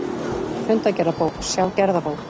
Fundagerðabók, sjá gerðabók